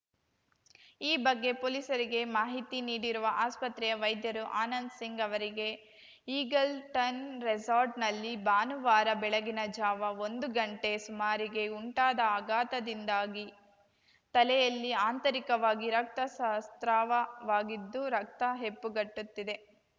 ಈ ಬಗ್ಗೆ ಪೊಲೀಸರಿಗೆ ಮಾಹಿತಿ ನೀಡಿರುವ ಆಸ್ಪತ್ರೆಯ ವೈದ್ಯರು ಆನಂದ್‌ಸಿಂಗ್‌ ಅವರಿಗೆ ಈಗಲ್‌ಟನ್‌ ರೆಸಾರ್ಟ್‌ನಲ್ಲಿ ಭಾನುವಾರ ಬೆಳಗಿನ ಜಾವ ಒಂದು ಗಂಟೆ ಸುಮಾರಿಗೆ ಉಂಟಾದ ಆಘಾತದಿಂದಾಗಿ ತಲೆಯಲ್ಲಿ ಆಂತರಿಕವಾಗಿ ರಕ್ತ ಸಾ ಸ್ರಾವವಾಗಿದ್ದು ರಕ್ತ ಹೆಪ್ಪುಗಟ್ಟುತ್ತಿದೆ